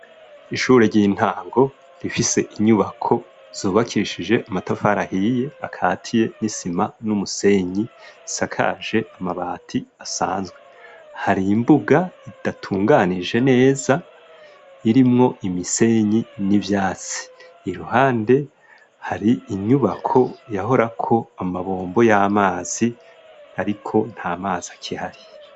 Ishure ry'intango rifise inyubako zobakishije amatafarahiye akatiye n'isima n'umusenyi sakaje amabati asanzwe hari imbuga idatunganije neza irimwo imisenyi n'ivyatsi i ruhande hari inyubako ko yahorako amabombo y'amazi, ariko nta mazi akihari.